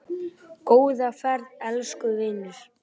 Góða ferð, elsku vinur.